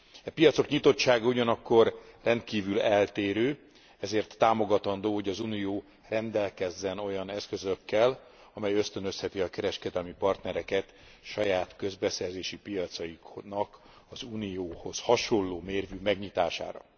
E piacok nyitottsága ugyanakkor rendkívül eltérő, ezért támogatandó, hogy az Unió rendelkezzen olyan eszközökkel, amely ösztönözheti a kereskedelmi partnereket saját közbeszerzési piacaiknak az Unióhoz hasonló mérvű megnyitására.